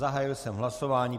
Zahájil jsem hlasování.